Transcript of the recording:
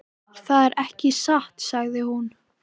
Það er ekki satt, sagði hún.